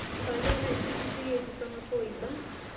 fakela isitifikedi samaphoyisa